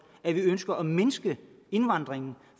at vi ønsker at mindske indvandringen